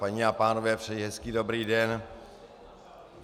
Paní a pánové, přeji hezký dobrý den.